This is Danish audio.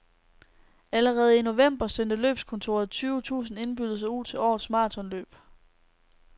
Allerede i november sendte løbskontoret tyve tusinde indbydelser ud til årets marathonløb.